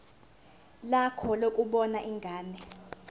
lakho lokubona ingane